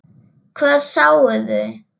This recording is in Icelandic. Hvað sáuði?